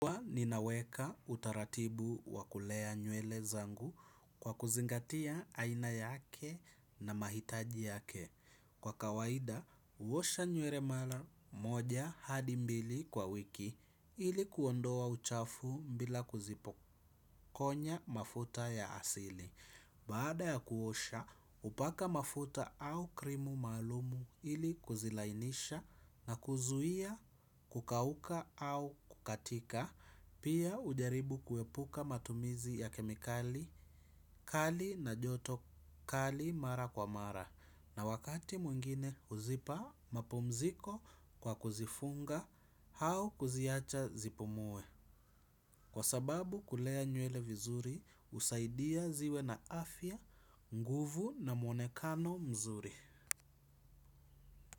Ninaweka utaratibu wakulea nywele zangu kwa kuzingatia aina yake na mahitaji yake. Kwa kawaida huosha nywele mara moja hadi mbili kwa wiki ili kuondoa uchafu bila kuzipokonya mafuta ya asili. Baada ya kuosha hupaka mafuta au krimu maalum ili kuzilainisha na kuzuia kukauka au kukatika pia hujaribu kuepuka matumizi ya kemikali kali na joto kali mara kwa mara. Na wakati mwingine huzipa mapumziko kwa kuzifunga au kuziacha zipumue. Kwa sababu kulea nywele vizuri husaidia ziwe na afya nguvu na mwonekano mzuri.